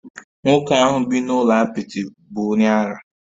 Nwoke ahu bi n'ulo apịtị bu onye ara